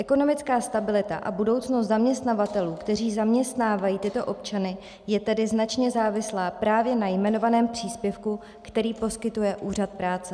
Ekonomická stabilita a budoucnost zaměstnavatelů, kteří zaměstnávají tyto občany, je tedy značně závislá právě na jmenovaném příspěvku, který poskytuje Úřad práce.